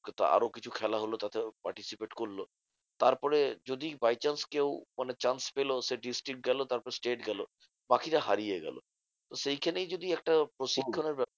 কিন্তু আরো কিছু খেল হলো তাতে participate করলো। তারপরে যদি by chance কেউ chance পেলো সে district গেলো তারপর state গেলো, বাকিরা হারিয়ে গেলো। সেইখানেই যদি একটা প্রশিক্ষণের ব্যাপার